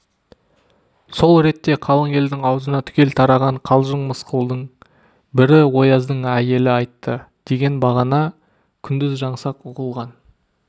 сол ретте қалың елдің аузына түгел тараған қалжың мысқылдың бірі ояздың әйелі айтты деген бағана күндіз жаңсақ ұғылған